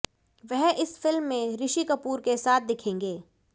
वह इस फिल्म में ऋषि कपूर के साथ दिखेंगे